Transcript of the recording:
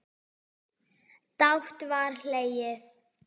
Dátt var hlegið.